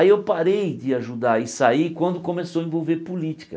Aí eu parei de ajudar e saí quando começou a envolver política.